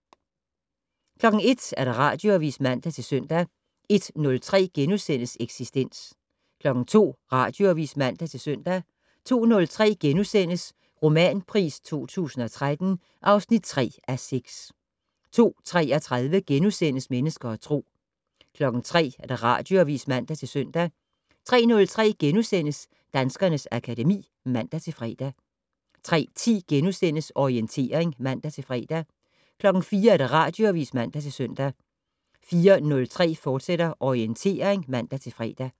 01:00: Radioavis (man-søn) 01:03: Eksistens * 02:00: Radioavis (man-søn) 02:03: Romanpris 2013 (3:6)* 02:33: Mennesker og Tro * 03:00: Radioavis (man-søn) 03:03: Danskernes akademi *(man-fre) 03:10: Orientering *(man-fre) 04:00: Radioavis (man-søn) 04:03: Orientering, fortsat (man-fre)